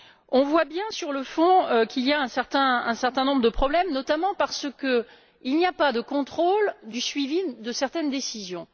On voit bien, sur le fond, qu'il y a un certain nombre de problèmes, notamment parce qu'il n'y a pas de contrôle du suivi de certaines décisions.